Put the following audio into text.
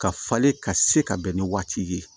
Ka falen ka se ka bɛn ni waati ye